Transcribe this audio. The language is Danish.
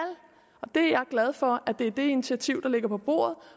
jeg er glad for at det er det initiativ der ligger på bordet